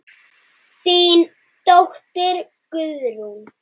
Þín dóttir Guðrún.